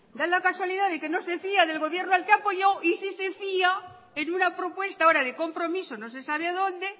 da la casualidad de que no se fía del gobierno al que apoyo y si se fiá en una propuesta ahora de compromisos no se sabe dónde